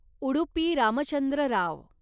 Udupi Ramachandra Rao